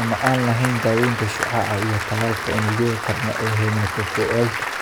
ama aan lahayn daawaynta shucaaca iyo tallaalka unugyada tarma ee hematopoietic.